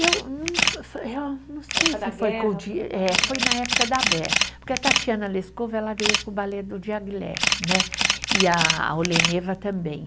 Eu não, eh não sei se foi, eh foi na época da eh, porque a Tatiana Lescova ela veio com o balé do né, e a a Oleneva também.